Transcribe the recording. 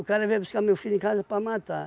cara veio buscar meu filho em casa para matar.